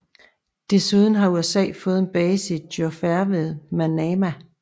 Desuden har USA fået en base i Juffair ved Manama